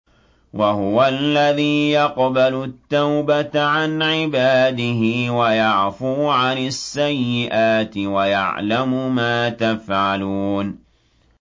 وَهُوَ الَّذِي يَقْبَلُ التَّوْبَةَ عَنْ عِبَادِهِ وَيَعْفُو عَنِ السَّيِّئَاتِ وَيَعْلَمُ مَا تَفْعَلُونَ